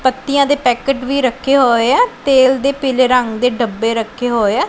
ਪੱਤੀਆਂ ਦੇ ਪੈਕਟ ਵੀ ਰੱਖੇ ਹੋਏ ਆ ਤੇਲ ਦੇ ਪੀਲੇ ਰੰਗ ਦੇ ਡੱਬੇ ਰੱਖੇ ਹੋਏ ਆ।